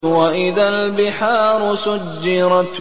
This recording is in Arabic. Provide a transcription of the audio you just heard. وَإِذَا الْبِحَارُ سُجِّرَتْ